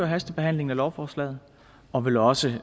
hastebehandlingen af lovforslaget og vil også